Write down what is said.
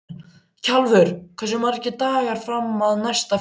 Kjalvör, hversu margir dagar fram að næsta fríi?